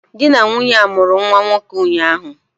Di na nwunye a mụrụ nwa nwoke ụnyahụ